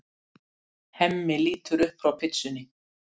Hemmi lítur upp frá pitsunni.